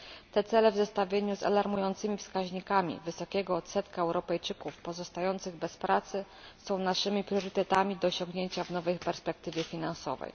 Te cele, w zestawieniu z alarmującymi wskaźnikami wysokiego odsetka Europejczyków pozostających bez pracy, są naszymi priorytetami do osiągnięcia w nowej perspektywie finansowej.